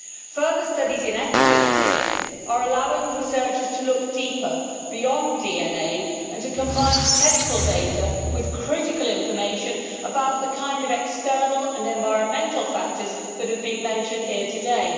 Further studies in epigenetics are allowing researchers to look deeper, beyond DNA, and to combine the medical data with critical information about the kind of external and environmental factors that have been mentioned here today.